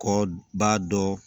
Kɔ b'a dɔn